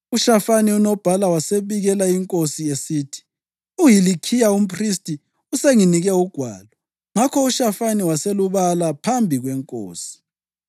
UShafani unobhala wasebikela inkosi esithi, “UHilikhiya umphristi usenginike ugwalo.” Ngakho uShafani waselubala phambi kwenkosi.